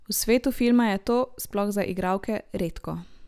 V svetu filma je to, sploh za igralke, redko.